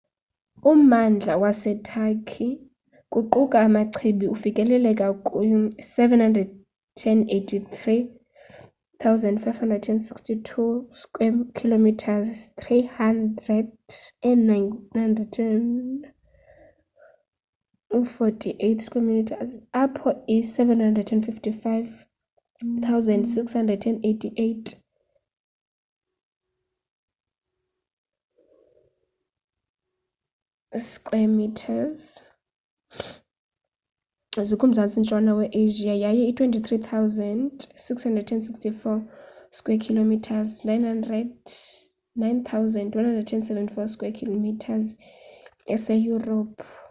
ummandla waseturkey kuquka amachibi ufikelela kwi-783,562 square kilometres 300,948 sq mi apho i-755,688 square kilometres 291,773 sq mi zikumzantsi ntshona we-asia yaye i-23,764 square kilometres 9,174 sq mi iseyurophu